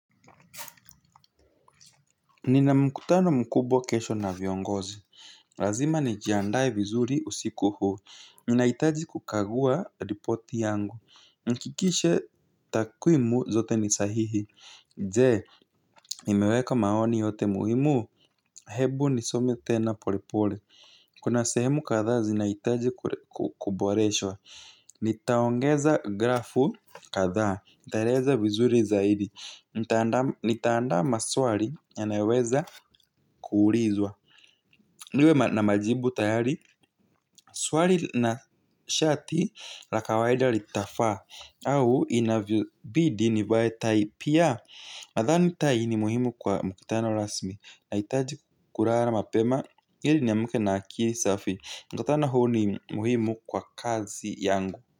Nina mkutano mkubwa kesho na viongozi. Lazima nijiandae vizuri usiku huu. Ninahitaji kukagua ripoti yangu. Nihakikishe takwimu zote ni sahihi. Je nimeweka maoni yote muhimu hebu nisome tena pole pole. Kuna sehemu kadha zinahitaji kuboreshwa. Nitaongeza grafu kadha. Nitaeleza vizuri zaidi. Nitaanda maswali yanayoweza kuulizwa. Niwe na majibu tayari. Swali na shati la kawaida litafaa. Au inavyo bidii nivae tai pia. Nadhani tai ni muhimu kwa mkutano rasmi. Nahitaji kulala mapema ili niamke na akili safi mkutano huu ni muhimu kwa kazi yangu.